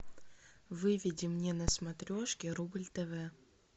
выведи мне на смотрешке рубль тв